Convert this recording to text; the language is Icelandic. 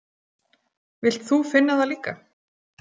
Vilt þú finna það líka?